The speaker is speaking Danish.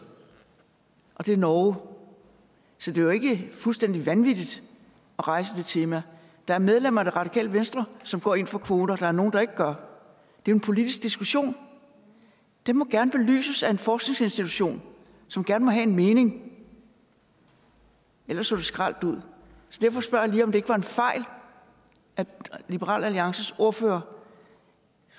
og det er norge så det er jo ikke fuldstændig vanvittigt at rejse det tema der er medlemmer af det radikale venstre som går ind for kvoter og der er nogle der ikke gør det er en politisk diskussion det må gerne belyses af en forskningsinstitution som gerne må have en mening ellers så det skralt ud så derfor spørger jeg lige om det ikke var en fejl at liberal alliances ordfører